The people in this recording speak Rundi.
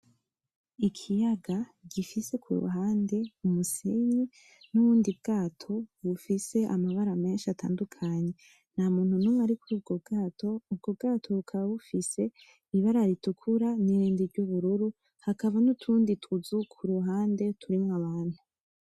Ikiyaga gifise kuruhande umusenyi nubundi bwato bufise amabara menshi atandukanye. Ntamuntu numwe arikuri ubwo bwato, ubwo bwato bukaba bufise ibara ritukura nirindi ryubururu hakaba nutundi tuzu kuruhande turimwo abantu.